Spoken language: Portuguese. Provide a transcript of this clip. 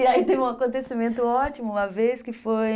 E aí teve um acontecimento ótimo, uma vez que foi...